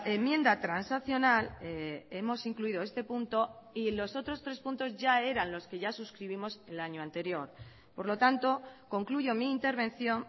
enmienda transaccional hemos incluido este punto y los otros tres puntos ya eran los que ya suscribimos el año anterior por lo tanto concluyo mi intervención